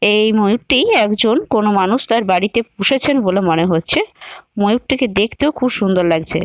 এই ময়ূরটি একজন কোন মানুষ তার বাড়িতে পুষেছেন বলে মনে হচ্ছে । ময়ূরটিকে দেখতেও খুব সুন্দর লাগছে।